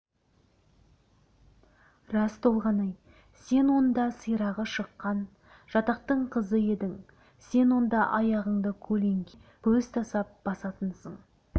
рас толғанай сен онда сирағы шыққан жатақтың қызы едің сен онда аяғыңды көлеңкеңе көз тастап басатынсың